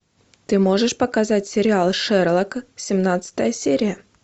ты можешь показать сериал шерлок семнадцатая серия